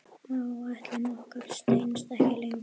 Áætlun okkar stenst ekki lengur.